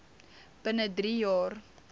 binne drie jaar